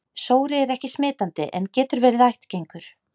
Sóri er ekki smitandi en getur verið ættgengur.